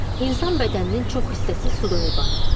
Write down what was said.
İnsan bədəninin çox hissəsi sudan ibarətdir.